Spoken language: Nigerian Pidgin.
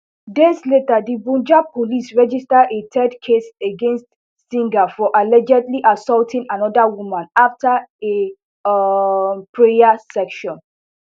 days later di punjab police register a third case against singh for allegedly assaulting anoda woman afta a um prayer session